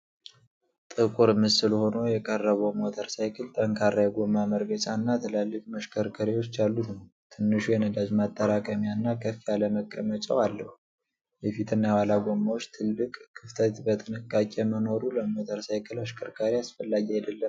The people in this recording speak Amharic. ጥቁር ምስል ሆኖ የቀረበው ሞተር ሳይክል ጠንካራ የጎማ መርገጫና ትላልቅ መሽከርከሪያዎች ያሉት ነው። ትንሹ የነዳጅ ማጠራቀሚያ እና ከፍ ያለ መቀመጫው አለው። የፊትና የኋላ ጎማዎች ትልቅ ክፍተት በጥንቃቄ መኖሩ ለሞተር ሳይክል አሽከርካሪ አስፈላጊ አይደለምን?